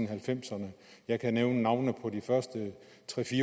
halvfemserne jeg kan nævne navnene på de første tre